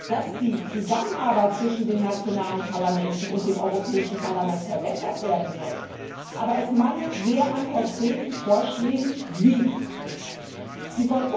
dass die Zusammenarbeit zwischen den nationalen Parlamenten und dem Europäischen Parlament verbessert werden soll, aber es mangelt sehr an konkreten Vorschlägen, wie dies geschehen soll.